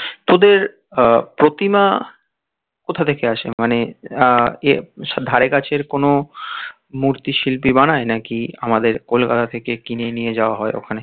তোদের আহ প্রতিমা কোথা থেকে আসে? মানে আহ এ ধারে কাছে কোনো মূর্তি শিল্পী বানায় নাকি আমাদের কলকাতা থেকে কিনে নিয়ে যাওয়া হয় ওখানে